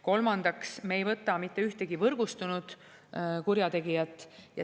Kolmandaks, me ei võta mitte ühtegi võrgustunud kurjategijat.